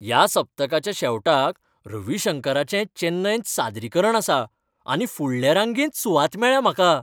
ह्या सप्तकाच्या शेवटाक रवी शंकराचें चेन्नयंत सादरीकरण आसा आनी फुडले रांगेंत सुवात मेळ्ळ्या म्हाका!